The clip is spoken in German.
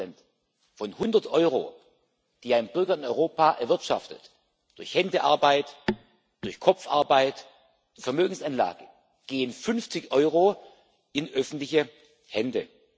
50 Von 100 Euro, die ein Bürger in Europa erwirtschaftet durch Händearbeit, durch Kopfarbeit, Vermögensanlagen gehen 50 Euro in öffentliche Hände.